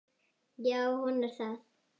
Já, hún er það.